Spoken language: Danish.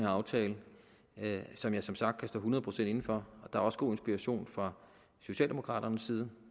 aftale som jeg som sagt kan stå hundrede procent inde for der var også god inspiration fra socialdemokraternes side